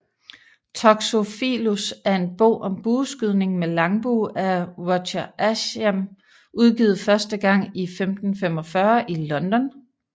Toxophilus er en bog om bueskydning med langbue af Roger Ascham udgivet første gang i 1545 i London